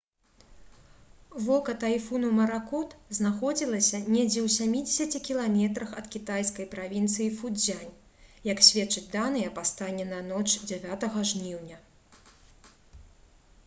вока тайфуну маракот знаходзілася недзе ў сямідзесяці кіламетрах ад кітайскай правінцыі фуцзянь як сведчаць даныя па стане на ноч 9 жніўня